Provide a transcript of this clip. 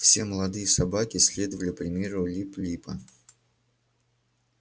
все молодые собаки следовали примеру лип липа